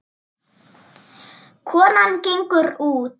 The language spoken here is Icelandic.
Konan gengur út.